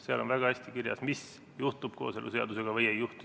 Seal on väga hästi kirjas, mis juhtub kooseluseadusega või mis ei juhtu.